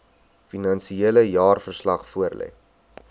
finansiële jaarverslag voorlê